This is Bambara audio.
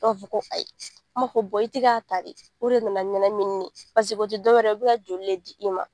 Dɔw b'a fɔ ko ayi, anw b'a fɔ i ti ka ta de, o de nana ni ɲɛnamini ye paseke o ti dɔwɛrɛ ye, u bi ka joli le di i ma.